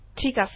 ঠিক আছে